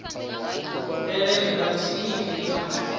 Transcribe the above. pele ri vhathihi ri a